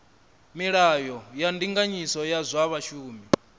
milayo ya ndinganyiso ya zwa vhashumi